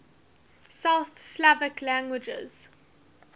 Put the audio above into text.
south slavic languages